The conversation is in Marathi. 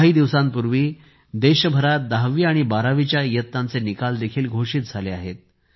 काही दिवसांपूर्वी देशभरात 10 वी आणि 12वी इयत्तांचे निकाल देखील घोषित झाले आहेत